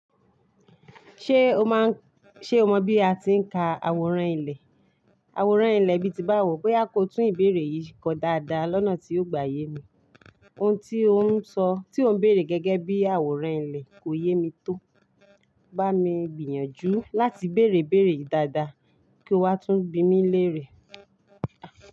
Ṣé o mọ bí a ti ń ka àwòrán ilẹ̀? Àwòrán ilẹ̀ bíi ti bá wò pé a kò tún ìbéèrè yìí kọ dáadáa lọ́nà tí yóò gbà yè mi. Ohun tí ò ń sọ, tí ò ń béèrè gẹ́gẹ́ bí àwòrán ilẹ̀ kò yé mi tó. Bá mi gbìyànjú láti bèèrè ìbéèrè yii dáadáa kí ó wá tún bí mi léèrè.